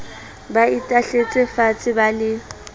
ba itahletse faatshe ba le